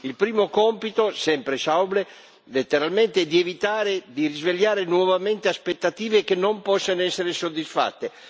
Il primo compito sempre Schäuble letteralmente è di evitare di risvegliare nuovamente aspettative che non possano essere soddisfatte.